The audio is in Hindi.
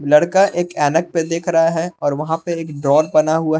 लड़का एक ऐनक पे देख रहा है और वहाँ पे एक डोर बना हुआ है।